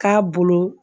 K'a bolo